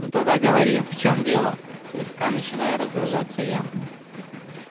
ну тогда говори в чём дело слегка начинаю раздражаться я